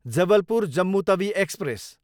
Jabalpur, Jammu Tawi express